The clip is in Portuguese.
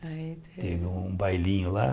Teve um bailinho lá.